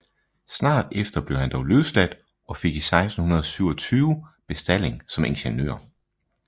Snart efter blev han dog løsladt og fik 1627 bestalling som ingeniør